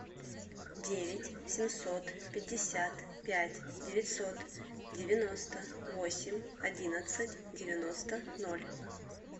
девять семьсот пятьдесят пять девятьсот девяносто восемь одиннадцать девяносто ноль